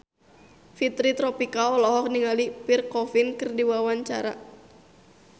Fitri Tropika olohok ningali Pierre Coffin keur diwawancara